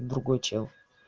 другой чел